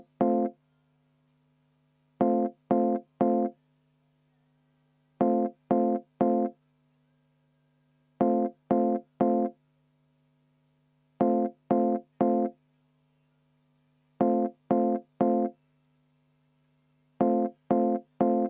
Ei, ma ei näe mingit põhjust tagasi võtta.